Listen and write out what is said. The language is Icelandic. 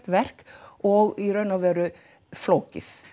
verk og í raun og veru flókið